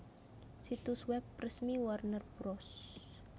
Situs web resmi Warner Bros